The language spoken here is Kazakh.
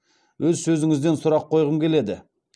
өз сөзіңізден сұрақ қойғым келеді